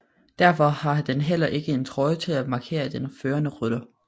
Derfor har den heller ikke en trøje til at markere den førende rytter